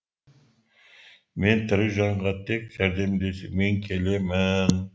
мен тірі жанға тек жәрдемдесумен келемін